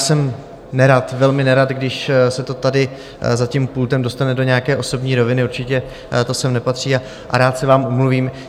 Jsem nerad, velmi nerad, když se to tady za tím pultem dostane do nějaké osobní roviny, určitě to sem nepatří a rád se vám omluvím.